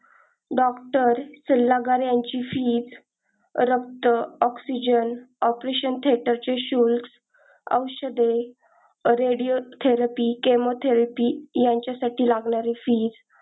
doctor सल्लागार याचे fees रक्त oxygen, operation theater च शुल्क औषध radio therapy, chemo therapy यांचा साठी लागणारे fees.